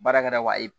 Baarakɛda wa